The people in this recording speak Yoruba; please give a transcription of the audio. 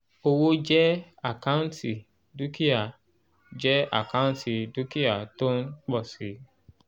owó jẹ́ àkáǹtì dúkìá jẹ́ àkáǹtì dúkìá tó ń pọ̀ si